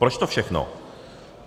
Proč to všechno?